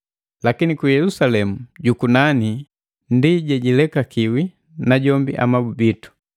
Lakini ku Yelusalemu jukunani ndi jejilekakiwi, najombi amabu bitu.